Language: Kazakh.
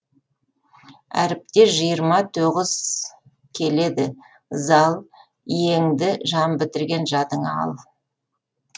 әріпте жиырма тоғыз келеді зал иеңді жан бітірген жадыңа ал